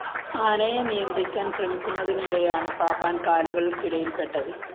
ആനയെ നിയന്ത്രിക്കാന്‍ ശ്രമിക്കുന്നതിനിടെയാണ് പാപ്പാന്‍ കാലുകളക്കിടയില്‍പ്പെട്ടത്